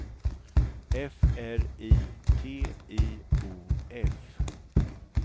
F R I T I O F